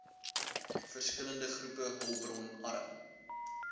verskillende groepe hulpbronarm